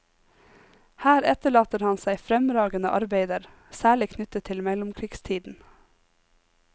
Her etterlater han seg fremragende arbeider, særlig knyttet til mellomkrigstiden.